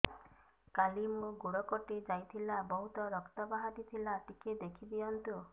କାଲି ମୋ ଗୋଡ଼ କଟି ଯାଇଥିଲା ବହୁତ ରକ୍ତ ବାହାରି ଥିଲା ଟିକେ ଦେଖି ଦିଅନ୍ତୁ